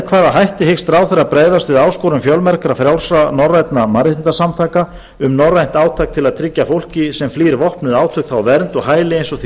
hvaða hætti hyggst ráðherra bregðast við áskorun fjölmargra frjálsra norrænna mannréttindasamtaka um norrænt átak til að tryggja fólki sem flýr vopnuð átök þá vernd og hæli eins og því